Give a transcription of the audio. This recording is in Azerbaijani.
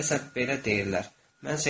Deyəcəklər, belə deyirlər.